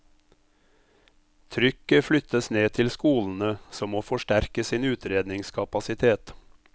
Trykket flyttes ned til skolene, som må forsterke sin utredningskapasitet.